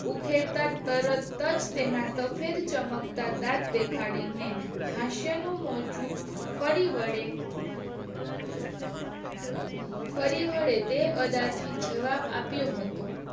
ઉખેડતાં તરતજ તેના સફેદ ચમકતા દાંત દેખાડીને હાસ્ય નું મોજું ફરી વળે ફરી વળે તે અદા થી જવાબ આપ્યો હતો